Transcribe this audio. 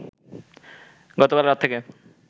গতকাল রাত থেকে